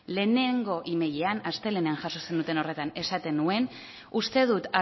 lehenengo emailean astelehenean jaso zenuten horretan esaten nuen uste dut